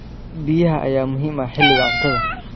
Biyaha ayaa muhiim ah xilliga cuntada.